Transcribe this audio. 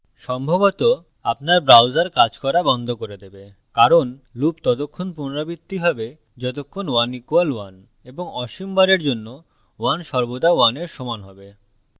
সম্ভবত আপনার browser কাজ করা বন্ধ করে দেবে কারণ loop ততক্ষণ পুনরাবৃত্তি হবে যতক্ষণ 1 = 1 এবং অসীম বারের জন্য 1 সর্বদা 1 এর সমান হবে